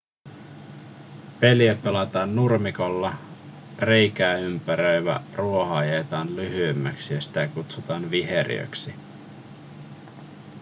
peliä pelataan nurmikolla reikää ympäröivä ruoho ajetaan lyhyemmäksi ja sitä kutsutaan viheriöksi